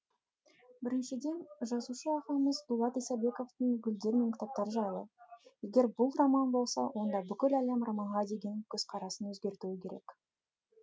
біріншіден жазушы ағамыз дулат исабековтің гүлдер мен кітаптар жайлы егер бұл роман болса онда бүкіл әлем романға деген көзқарасын өзгертуі керек